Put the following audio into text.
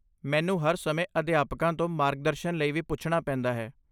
ਮੈਨੂੰ ਹਰ ਸਮੇਂ ਅਧਿਆਪਕਾਂ ਤੋਂ ਮਾਰਗਦਰਸ਼ਨ ਲਈ ਵੀ ਪੁੱਛਣਾ ਪੈਂਦਾ ਹੈ।